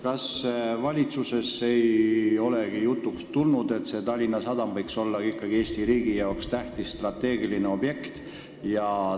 Kas valitsuses ei ole jutuks tulnud, et Tallinna Sadam võiks ikkagi olla riigi jaoks tähtis strateegiline objekt?